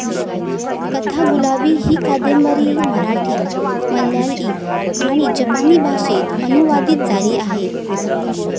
कथागुलाब ही कादंबरी मराठी, मल्याळी आणि जपानी भाषेत अनुवादित झाली आहे.